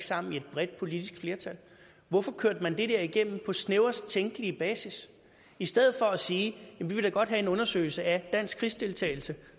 sammen i et bredt politisk flertal hvorfor kørte man det der igennem på snævrest tænkelige basis i stedet for at sige vi vil da godt have en undersøgelse af dansk krigsdeltagelse